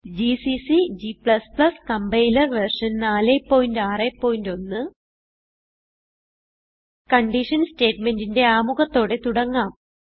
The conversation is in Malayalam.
GCC g compiler version 461 condition സ്റ്റേറ്റ്മെന്റിന്റെ ആമുഖത്തോടെ തുടങ്ങാം